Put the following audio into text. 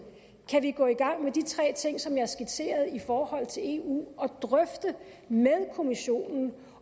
kan vi gå i gang med de tre ting som jeg skitserede i forhold til eu og drøfte med kommissionen